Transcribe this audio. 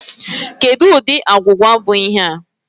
Kedụ ụdị agwụgwa bụ ihe a?